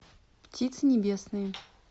птицы небесные